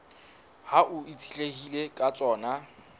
hao e itshetlehileng ka tsona